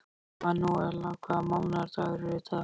Manúella, hvaða mánaðardagur er í dag?